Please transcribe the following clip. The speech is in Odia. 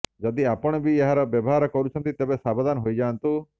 ଯଦି ଆପଣ ବି ଏହାର ବ୍ୟବହାର କରୁଛନ୍ତି ତେବେ ସାବଧାନ ହୋଇଯାଆନ୍ତୁ